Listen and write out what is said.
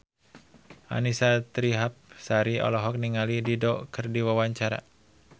Annisa Trihapsari olohok ningali Dido keur diwawancara